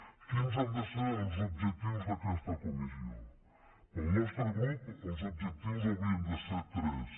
quins han de ser els objectius d’aquesta comissió pel nostre grup els objectius haurien de ser tres